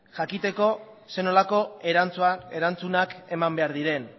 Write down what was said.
jakiteko zer nolako erantzunak eman behar diren